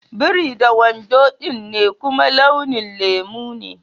Biri da wando dm ne kuma launin lemu ne.